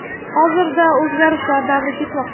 Hozirda o‘zgarishlar davri ketmoqda.